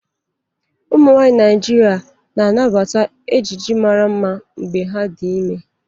Ụmụnwaanyị Naijiria na-anabata ejiji mara mma mgbe ha dị ime.